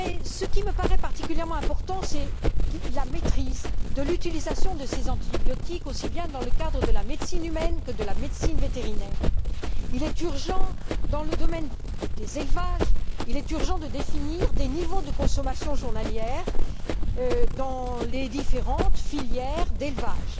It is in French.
Ce qui me paraît particulièrement important, c'est la maîtrise de l'utilisation de ces antibiotiques, aussi bien dans le cadre de la médecine humaine que de la médecine vétérinaire. Il est urgent de définir des niveaux de consommation journalière dans les différentes filières d'élevage.